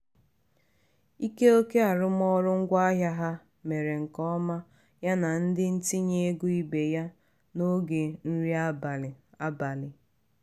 ike oke arụmaọrụ ngwaahịa ha mere nke ọma ya na ndị ntinye ego ibe ya n'oge nri abalị. abalị.